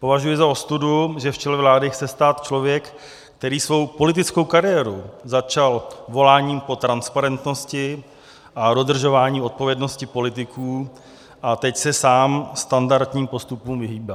Považuji za ostudu, že v čele vlády chce stát člověk, který svou politickou kariéru začal voláním po transparentnosti a dodržování odpovědnosti politiků, a teď se sám standardním postupům vyhýbá.